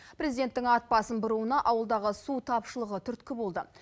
президенттің ат басын бұруына ауылдағы су тапшылығы түрткі болды